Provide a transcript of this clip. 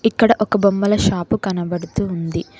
ఇక్కడ ఒక బొమ్మల షాపు కనబడుతుంది.